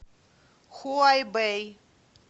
хуайбэй